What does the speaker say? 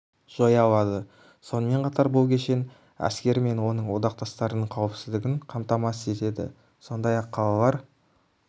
жоя алады сонымен қатар бұл кешен әскері мен оның одақтастарының қауіпсіздігін қамтамасыз етеді сондай-ақ қалалар